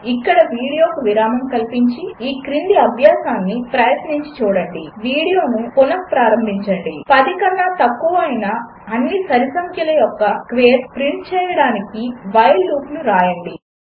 10 కన్న తక్కువ అయిన అన్ని సరిసంఖ్యల యొక్క స్క్వేర్స్ ప్రింట్ చేయడానికి వైల్ లూపును వ్రాయండి